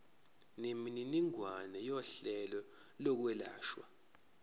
nemininingwane yohlelo lokwelashwa